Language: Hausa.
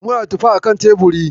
Muna da tufa akan teburi.